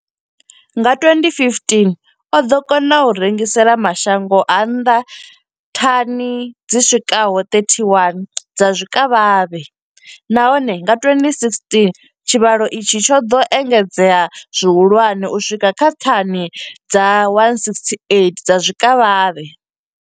Nga 2015, o ḓo kona u rengisela mashango a nnḓa thani dzi swikaho 31 dza zwikavhavhe, nahone nga 2016 tshivhalo itshi tsho ḓo engedzea zwihulwane u swika kha thani dza 168 dza zwikavhavhe.